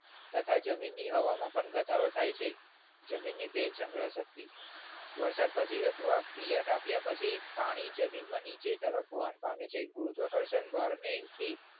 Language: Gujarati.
તથા જમીનની હવામાં પણ ઘટાડો થાય છે. જમીનની ભેજ સંગ્રહ શક્તિ વરસાદ પછી અથવા પિયત આપ્યા પછી પાણી જમીનની નીચે તરફ વહન પામે છે ગુરુત્વાકર્ષણ બળને થી